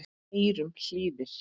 eyrum hlýðir